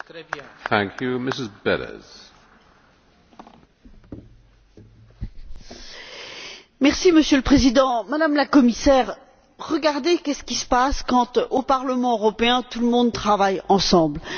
Monsieur le Président, Madame la Commissaire, regardez ce qui se passe quand, au Parlement européen, tout le monde travaille ensemble et lorsqu'un migrant est considéré aussi comme un travailleur le succès est au rendez vous!